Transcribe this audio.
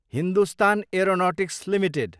Hindustan aeronautics Ltd